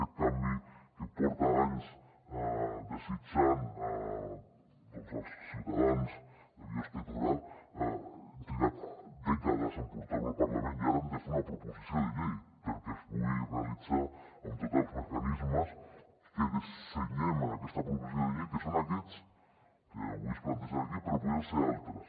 aquest canvi que porten anys desitjant els ciutadans de biosca i torà hem trigat dècades en portar lo al parlament i ara hem de fer una proposició de llei perquè es pugui realitzar amb tots els mecanismes que dissenyem en aquesta proposició de llei que són aquests que avui es plantegen aquí però que podrien ser altres